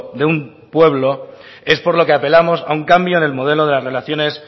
de un pueblo es por lo que apelamos a un cambio en el modelo de las relaciones